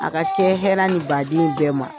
A ka kɛ hɛra ni baden ye bɛɛ ma.